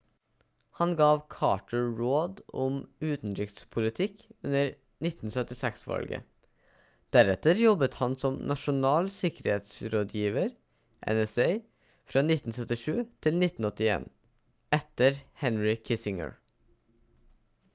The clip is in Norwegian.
han gav carter råd om utenrikspolitikk under 1976-valget deretter jobbet han som nasjonal sikkerhetsrådgiver nsa fra 1977 til 1981 etter henry kissinger